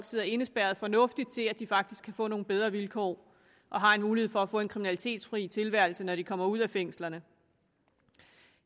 sidder indespærret fornuftigt til at de faktisk kan få nogle bedre vilkår og har en mulighed for at få en kriminalitetsfri tilværelse når de kommer ud af fængslerne